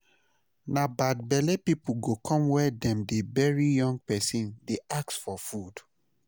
Na bad belle people go come where dem dey bury young person dey ask for food